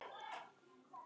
á þessum vetri.